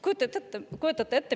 " Kujutate ette!